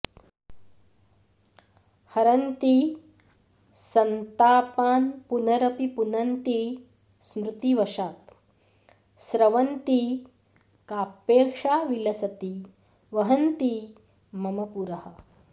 हरन्ती सन्तापान्पुनरपि पुनन्ती स्मृतिवशात् स्रवन्ती काप्येषा विलसति वहन्ती मम पुरः